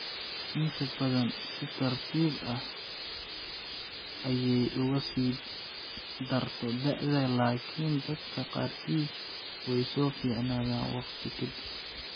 Inta badan si tartiib tartiib ah ayey uga sii darto da'da, laakiin dadka qaarkiis way soo fiicnaataa waqti ka dib.